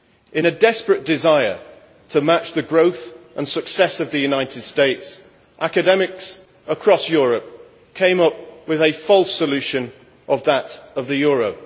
In a desperate desire to match the growth and success of the United States, academics across Europe came up with a false solution that of the euro.